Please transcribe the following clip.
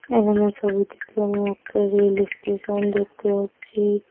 এখানে ছবিটিতে আমি একটা রেল এস্টেশন দেখতে পাচ্ছি।